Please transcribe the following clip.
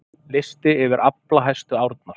Listi yfir aflahæstu árnar